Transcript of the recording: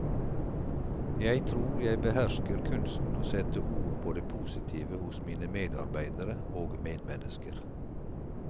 Jeg tror jeg behersker kunsten å sette ord på det positive hos mine medarbeidere og medmennesker.